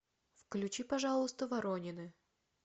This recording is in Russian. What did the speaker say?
включи пожалуйста воронины